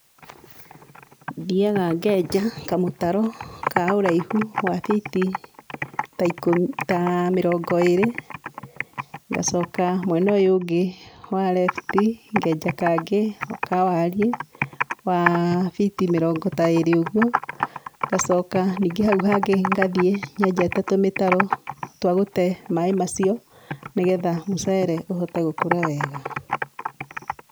Thiaga ngenja kamũtaro ka ũraihu wa fiti ta mĩrongo ĩrĩ, ngacoka mwena ũyũ ũngĩ wa lefti ngenja kangĩ ka wariĩ wa fiti mĩrongo ta ĩrĩ ũguo, gacoka ningĩ hau hangĩ gathiĩ nyenjete tũmĩtaro twa gũte maĩ macio nĩgetha mũcere ũhote gũkũra wega.